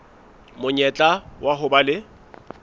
monyetla wa ho ba le